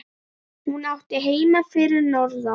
Hún átti heima fyrir norðan.